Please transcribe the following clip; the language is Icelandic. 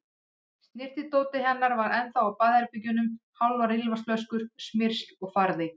Snyrtidótið hennar var ennþá á baðherbergjunum, hálfar ilmvatnsflöskur, smyrsl og farði.